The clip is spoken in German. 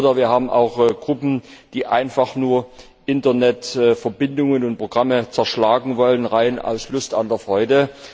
Oder wir haben auch Gruppen, die einfach nur Internetverbindungen und Programme zerschlagen wollen, rein aus Lust an der Freude.